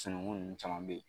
Sununŋu nunnu caman bɛ ye.